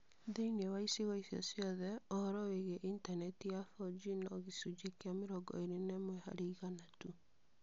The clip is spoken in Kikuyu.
Thĩinĩ wa icigo icio ciothe, ũhoro wĩgiĩ intaneti ya 4G no gĩcunjĩ kĩa mĩrongo ĩĩrĩ na ĩmwe harĩ igana tu.